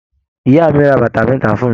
Ìyá mí rà bàtà mẹta fún mí.